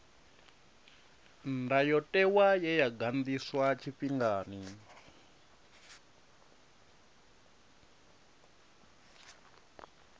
ndayotewa ye ya ganḓiswa tshifhingani